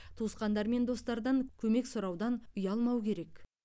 туысқандар мен достардан көмек сұраудан ұялмау керек